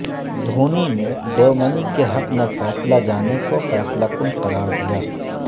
دھونی نے ڈیومنی کے حق میں فیصلہ جانے کو فیصلہ کن قرار دیا